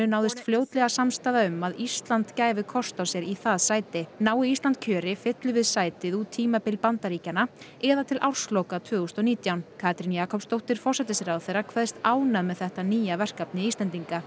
náðist fljótlega samstaða um að Ísland gæfi kost á sér í það sæti nái Ísland kjöri fyllum við sætið út tímabil Bandaríkjanna eða til ársloka tvö þúsund og nítján Katrín Jakobsdóttir forsætisráðherra kveðst ánægð með þetta nýja verkefni Íslendinga